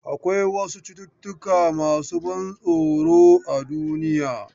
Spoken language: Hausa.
Akwai wasu cututtuka masu ban tsoro a duniya.